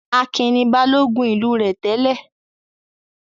Akin ni Balógun ìlú rẹ̀ tẹ́lẹ̀?